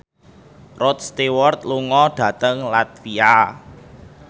Rod Stewart lunga dhateng latvia